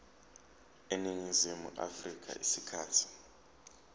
eningizimu afrika isikhathi